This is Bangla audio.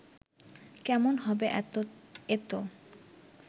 কেমন হবে এতো